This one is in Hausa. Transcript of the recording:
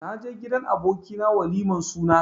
Naje gidan aboki na waliman suna.